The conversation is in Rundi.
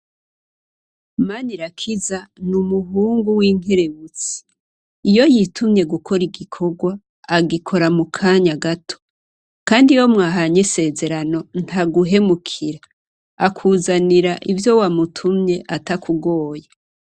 Manirakiza nu muhungu w'inkerebutsi iyo yitumye gukora igikorwa agikora mu kanya gato kandi iyo mwahanye isezerano ntaguhemukira akuzanira ivyo wamutumye atakugoye.